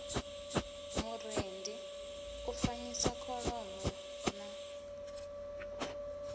murendi u fanyisa kholomo na